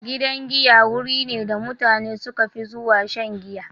Gidan giya wuri ne da mutane suka fi zuwa shan giya.